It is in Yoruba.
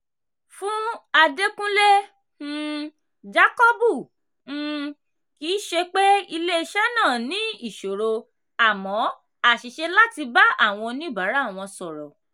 fún adékunle um jákọ́bù um kì í ṣe pé ilé iṣẹ́ náà ní ìṣòro amọ́ àṣìṣe láti bá àwọn oníbàárà wọn sọ̀rọ̀